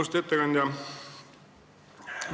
Austatud ettekandja!